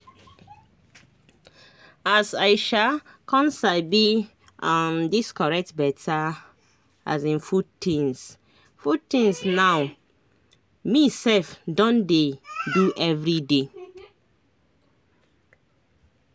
as i um con sabi um dis correct beta um food tinz food tinz now me sef don dey do everyday